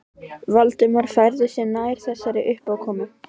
Valdimar færði sig nær þessari uppákomu.